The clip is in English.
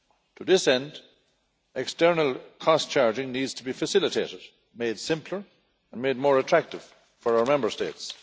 To this end, external cost charging needs to be facilitated, made simpler and made more attractive for our Member States.